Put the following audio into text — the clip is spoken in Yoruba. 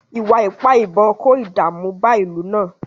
Ìwà ipá ìbọn kó ìdààmú bá ìlú náà